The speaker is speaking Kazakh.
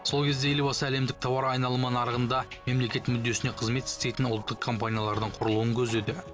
сол кезде елбасы әлемдік тауар айналымы нарығында мемлекет мүддесіне қызмет істейтін ұлттық компаниялардың құрылуын көздеді